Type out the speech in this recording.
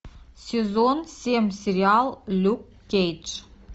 сезон семь сериал люк кейдж